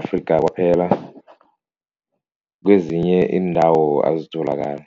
Afrika kwaphela, kwezinye iindawo azitholakale.